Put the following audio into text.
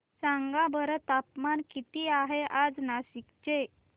सांगा बरं तापमान किती आहे आज नाशिक चे